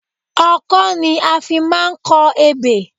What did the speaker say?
Ọkọ́ ni a fi máa ń kọ ebè